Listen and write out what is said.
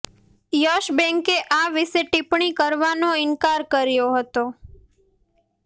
yes બેન્કે આ વિશે ટિપ્પણી કરવાનો ઇનકાર કર્યો હતો